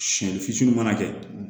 Siyɛnni fitinin mana kɛ